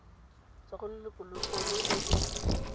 tswa go lelokolegolo e e